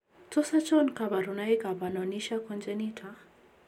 Tos achon kabarunaik ab Anonychia congenita ?